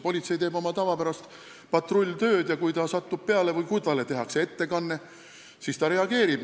Politsei teeb oma tavapärast patrulltööd ja kui ta satub millegi peale või kui talle tehakse ettekanne, siis ta reageerib.